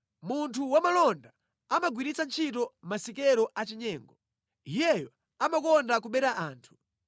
Munthu wamalonda amagwiritsa ntchito masikelo achinyengo; iyeyo amakonda kubera anthu.